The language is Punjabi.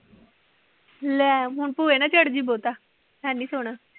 ਲੈ ਹੁਣ ਭੁਏ ਨਾ ਚੜ ਜਾਈ ਬਹੁਤਾ, ਹੈ ਨੀ ਸੋਹਣਾ।